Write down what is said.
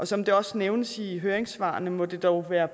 som det også nævnes i høringssvarene må det dog være